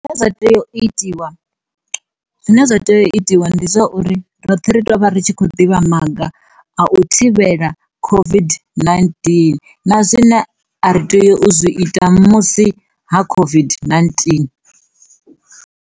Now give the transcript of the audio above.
Zwine zwa tea u itiwa zwine zwa tea u itiwa ndi zwauri roṱhe ri ṱwa vha ri tshi khou ḓivha maga a u thivhela COVID-19 na zwine a ri tea u zwi ita musi ha COVID-19.